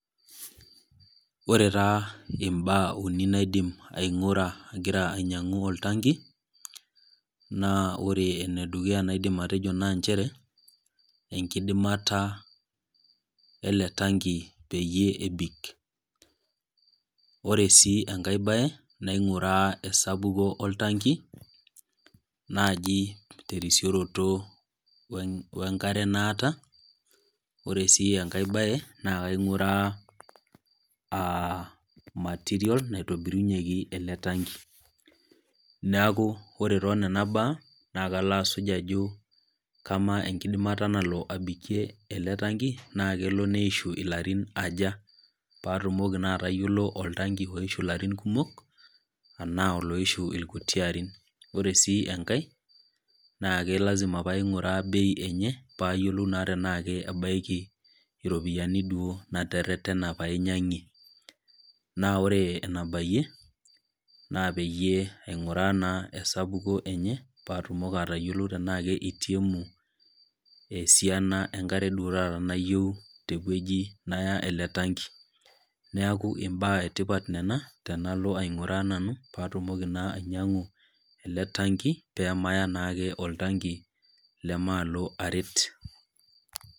Ore taa imbaa uni naidim aing'ura agira ainyang'u oltanki, naa ore ene dukuya naidim atejo naa nchere, enkidimata ele tanki peyie ebik. Ore sii enkai naing'uraa esapuko oltanki, naaji tesrisioroto we enkare naata. Ore sii enkai baye naa kaing'ura aa material naitobirunyeki ele tanki. Neaku ore toonena baa, naa kalo asuj ajo kamaa enkidimata nalo abikie ele tanki naa kelo neishu ilarin aja, paatumoki naa atayiolou oltanki oishu naa ilarin kumok anaa oloishu ilkuti arin, naa ore sii enkai naa lazima pee aing'uraa bei enye paayiolou naake tanaa kebaiki iropiani duo nateretena pee ainyang'ie. Naa ore ena bayie, naa peyie aing'uraa naa esapuko enye, paatumoki atayiolou tanaake eitiemu esiana enkare duo taata nayioou tewueji naya ele tanki. Neaku imbaa e tipat nena tenalo nanu aing'uraa nanu paatumoki naa ainyang'u ele tanki, peemaya naake oltanki leme aalo aret.